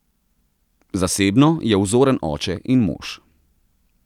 Zasebno je vzoren oče in mož.